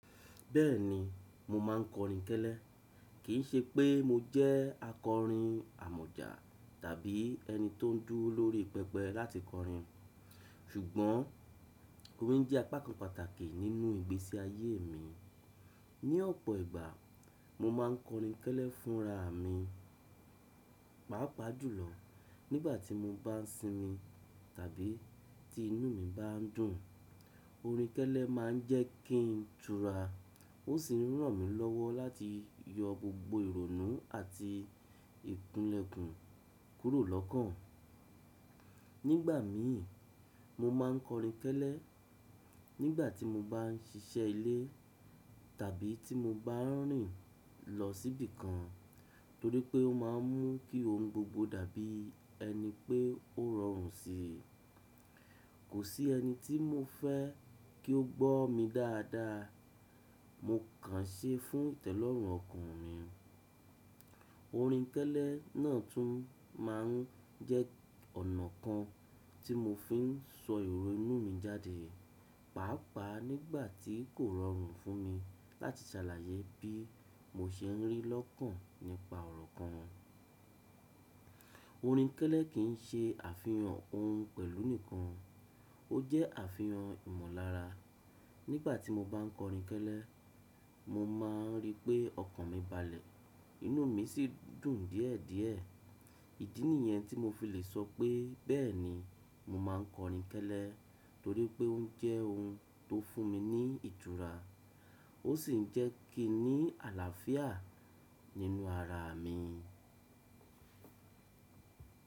Bẹ́ẹ̀ni, mo máa ń kọrin kẹ́lẹ́. Kì í ṣe pé mo jẹ́ akọrin àmọ̀jà tàbí ẹni tó ń dúrò lórí pẹpẹ láti kọrin, ṣùgbọ́n orin jẹ́ apá kan pàtàkì nínú ìgbésí ayé mi. Ní ọ̀pọ̀ ìgbà, mo máa ń kọrin kẹ́lẹ́ fúnraami pàápàá jùlọ nígbà tí mo bá ń sinmi tàbí tí inú mi bá ń dùn. Orin kẹ́lẹ́ máa ń jẹ́ kí ń tura, ó sì ràn mí lọ́wọ́ láti yọ gbogbo ìrònú àti ìgúlẹ̀kùn kúrò lọ́kàn. Nígbà míì, mo máa ń kọrin kẹ́lẹ́, nígbà tí mo bá ń ṣiṣẹ́ ilé tàbí tí mo bá ń rìn lọ síbì kan, torí pé ó máa ń mú kí ohun gbogbo dàbí ẹni pé ó rọrùn síi. Kò sí ẹni tí mo fẹ́ kí ó gbọ́ mi dáadáa, mo kàn ṣẹ́ fún ìtẹ́lọ́rùn ọkàn mi. Orin kẹ́lẹ́ náà tún máa ń jẹ́ ọ̀nà kan tí mo fi ń sọ ìrò inú mi jáde, pàápàá nígbà tí kò rọrùn fún mi láti ṣàlàyé bí mo ṣe ń rí lọ́kàn nípa ọ̀rọ̀ kan. Orin kẹ́lẹ́ kì í ṣe àfihàn ohun pẹ̀lú nìkan. Ó jẹ́ àfihàn ìmọ̀lára. Nígbà tí mo bá ń kọrin kẹ́lẹ́, mo máa ń rí pé ọkàn mi balẹ̀, inú mi sì dùn díẹ̀díẹ̀. Ìdí nìyẹn tí mo fi lè sọ pé bẹ́ẹ̀ni mo máa ń kọrin kẹ́lẹ́, torí pé ó jẹ́ ohun tó fún mi ní ìtura, ó sì jẹ́ kí ń ní àlàáfíà nínú ara mi.